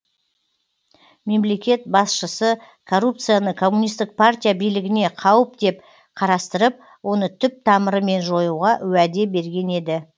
мемлекет басшысы коррупцияны коммунистік партия билігіне қауіп деп қарастырып оны түп тамырымен жоюға уәде берген еді